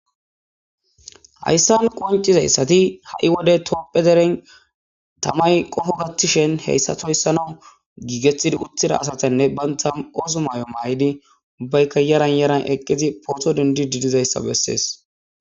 hayssan qoncizayssati ha7i wode toopphe deren tamay qoho gattishen heyssatoyssanaw giigeththidi uttida asatanne banta oosu maay7o maay7idi ubbayka yaran yaran eqqizi pooto dendi didizayssa bessees